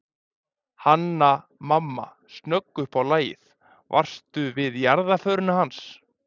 Hanna-Mamma snögg upp á lagið:- Varstu við jarðarförina hans